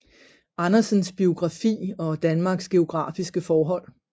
Andersens biografi og Danmarks geografiske forhold